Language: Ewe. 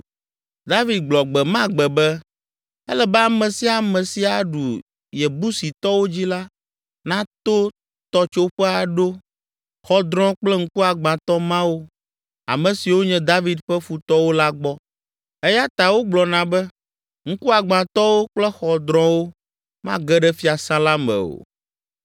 David gblɔ gbe ma gbe be, “Ele be ame sia ame si aɖu Yebusitɔwo dzi la, nato tɔtsoƒe aɖo ‘xɔdrɔ̃ kple ŋkugbãtɔ mawo’ ame siwo nye David ƒe futɔwo la gbɔ.” Eya ta wogblɔna be, “ ‘Ŋkuagbãtɔwo kple xɔdrɔ̃wo’ mage ɖe fiasã la me o.”